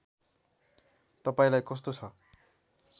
तपाईँलाई कस्तो छ